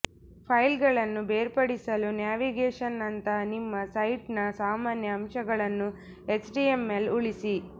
ಫೈಲ್ಗಳನ್ನು ಬೇರ್ಪಡಿಸಲು ನ್ಯಾವಿಗೇಷನ್ ನಂತಹ ನಿಮ್ಮ ಸೈಟ್ನ ಸಾಮಾನ್ಯ ಅಂಶಗಳನ್ನು ಎಚ್ಟಿಎಮ್ಎಲ್ ಉಳಿಸಿ